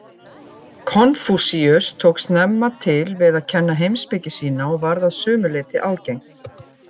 Konfúsíus tók snemma til við að kenna heimspeki sína og varð að sumu leyti ágengt.